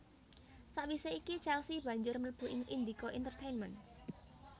Sawisé iki Chelsea banjur mlebu ing Indika Intertainment